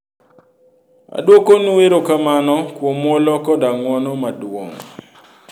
"Aduokonwu erokamano kuom muolo koda ng'uono maduong'.